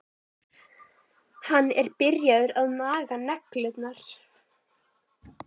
Hann er byrjaður að naga neglurnar.